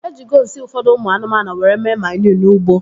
Ejigo nsị ụfọdụ ụmụ anụmanụ were mee maniu n'ugbo